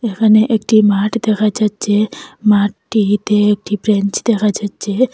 এখানে একটি মাঠ দেখা যাচ্ছে মাঠটিতে একটি ব্রেঞ্চ দেখা যাচ্ছে।